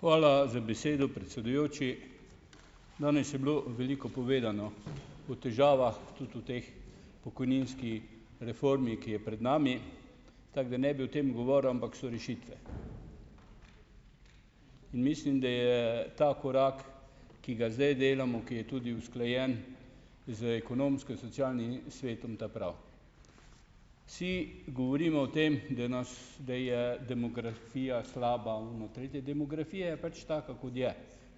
Hvala za besedo, predsedujoči. Danes je bilo veliko povedano o težavah tudi v tej pokojninski reformi, ki je pred nami, tako da ne bi o tem govoril, ampak so rešitve. In mislim, da je ta korak, ki ga zdaj delamo, ki je tudi usklajen z Ekonomsko-socialnim svetom, ta pravi. Vsi govorimo o tem, da nas, da je demografija slaba, ono, tretje. Demografija je pač taka, kot je,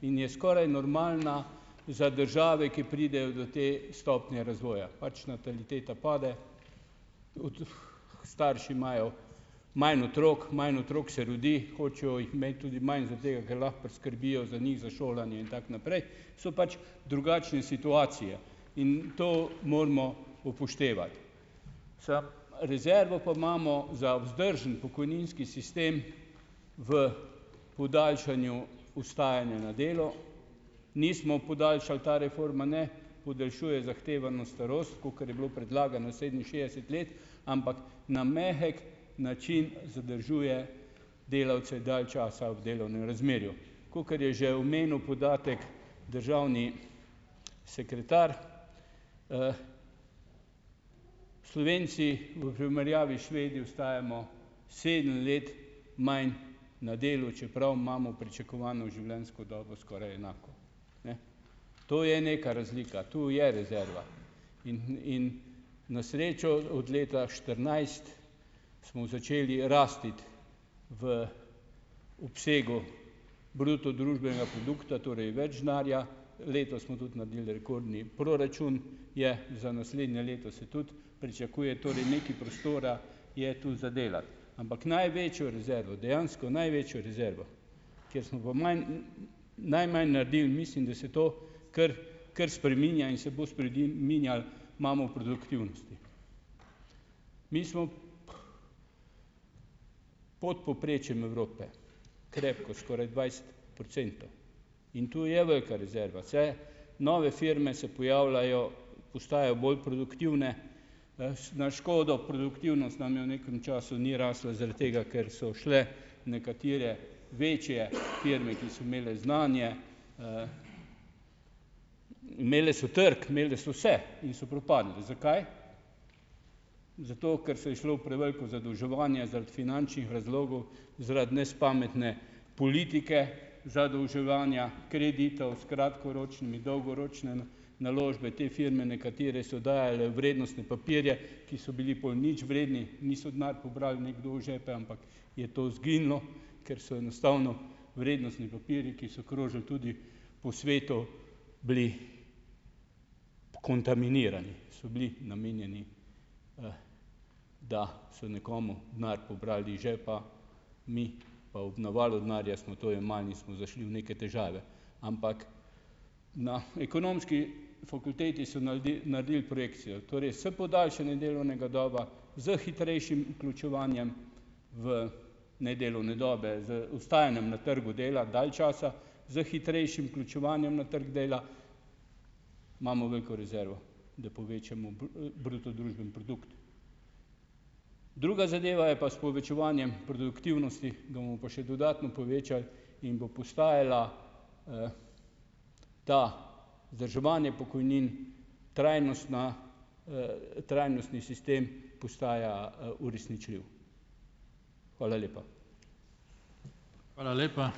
in je skoraj normalna za države, ki pridejo do te stopnje razvoja. Pač nataliteta pade, starši imajo manj otrok, manj otrok se rodi, hočejo jih imeti tudi manj zaradi tega, ker lahko priskrbijo za njih, za šolanje in tako naprej, so pač drugačne situacije. In to moramo upoštevati. Samo rezervo pa imamo za vzdržen pokojninski sistem v podaljšanju ostajanja na delu. Nismo podaljšali, ta reforma ne podaljšuje zahtevano starost, kakor je bilo predlagano, sedeminšestdeset let, ampak na mehek način zadržuje delavce dalj časa ob delovnem razmerju. Kakor je že omenil podatek državni sekretar, Slovenci v primerjavi s Švedi ostajamo sedem let manj na delu, čeprav imamo pričakovano življenjsko dobo skoraj enako. Ne. To je neka razlika, tu je rezerva. In in na srečo od leta štirinajst smo začeli rasti v obsegu bruto družbenega produkta, torej več denarja. Letos smo tudi naredili rekordni proračun. Je za naslednje leto se tudi pričakuje, torej nekaj prostora je to za delati. Ampak največjo rezervo, dejansko največjo rezervo, kjer smo pa manj najmanj naredili, mislim, da se to kar kar spreminja in se bo minjalo, imamo produktivnosti. Mi smo pod povprečjem Evrope, krepko, skoraj dvajset procentov. In tu je velika rezerva saj. Nove firme se pojavljajo, postajajo bolj produktivne, s na škodo produktivnost nam je v nekem času ni rasla zaradi tega, ker so šle nekatere večje firme, ki so imele znanje, imele so trg, imele so vse in so propadle. Zakaj? Zato, ker se je šlo v preveliko zadolževanje, zaradi finančnih razlogov, zaradi nespametne politike zadolževanja, kreditov s kratkoročnimi, dolgoročne naložbe. Te firme nekatere so dajale vrednostne papirje, ki so bili po nič vredni, niso denar pobrali nekdo v žepe, ampak je to izginilo, ker so enostavno vrednostni papirji, ki so krožili tudi po svetu, bili kontaminirani, so bili namenjeni, da so nekomu denar pobrali iz žepa, mi pa ob navalu denarja smo to jemali in smo zašli v neke težave, ampak na Ekonomski fakulteti so naredili projekcijo, torej s podaljšanjem delovne dobe, s hitrejšim vključevanjem v nedelovne dobe, z ostajanjem na trgu dela dal časa, s hitrejšim vključevanjem na trgu dela, imamo veliko rezervo, da povečamo bruto družbeni produkt. Druga zadeva je pa s povečevanjem produktivnosti, ga bomo pa še dodatno povečali in bo postajalo to vzdrževanje pokojnin trajnostno, trajnostni sistem postaja, uresničljiv. Hvala lepa.